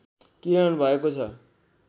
किरण भएको छ